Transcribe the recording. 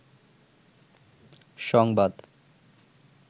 সংবাদ